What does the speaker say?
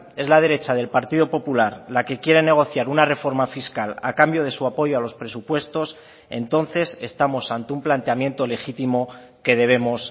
es la derecha del partido popular la que quiere negociar una reforma fiscal a cambio de su apoyo a los presupuestos entonces estamos ante un planteamiento legítimo que debemos